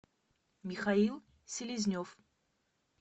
михаил селезнев